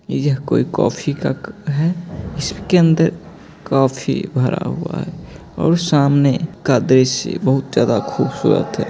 यह कोई कॉफी का है इसके अंदर कॉफी भरा हुआ है और सामने का दृश्य बहुत ज्यादा खूबसूरत है।